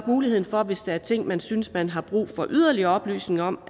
muligheden for hvis der er ting man synes man har brug for yderligere oplysninger om